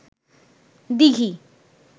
দিঘি